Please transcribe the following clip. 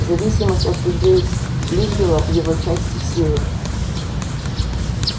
зависимость от людей лигггила его части силы